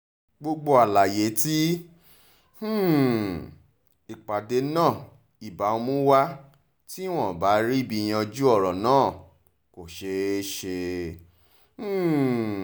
gbogbo àlàyé tí um ìpàdé náà ibà mú wá tí wọ́n ibà ríbi yanjú ọ̀rọ̀ náà kò ṣeé ṣe um